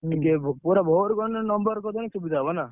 ପୁରା ଭୋରୁ number କରିନେ ସୁବିଧା ହବ ନା।